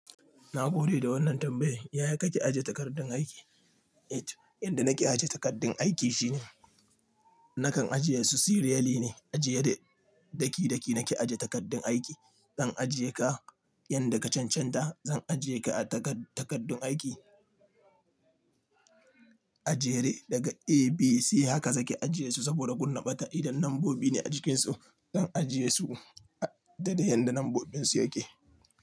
Na gode da wannan tambayar. Yaya kake aje takardun aiki? Eh, yanda nake aje takardun aiki shine nakan ajiye su serially ne. Ajiye daki-daki nake aje takardun aiki. Zan ajiye ka, yanda ka cancanta zan ajiye ka a takardun aiki. Ajere daga A, B, C haka zaki ajiye su saboda kunna ɓata idan lambobi ne a jikin su. Zan ajiye su da yanda lambobin su yake.